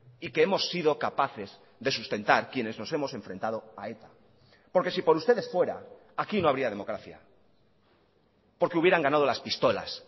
y que hemos sido capaces de sustentar quienes nos hemos enfrentado a eta porque si por ustedes fuera aquí no habría democracia porque hubieran ganado las pistolas